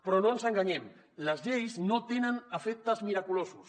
però no ens enganyem les lleis no tenen efectes miraculosos